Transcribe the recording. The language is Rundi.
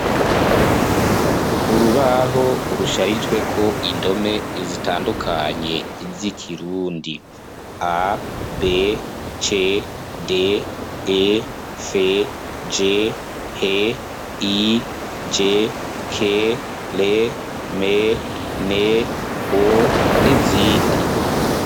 Urubaho rusharijweko indome zitandukanye z'ikirundi: A,B,C,D,E,F,G,H,I,J,K,R,M,N,O, n'izindi.